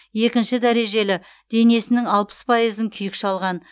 екінші дәрежелі денесінің алпыс пайызын күйік шалған